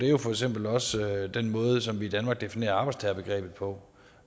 er for eksempel også den måde som vi i danmark definerer arbejdstagerbegrebet på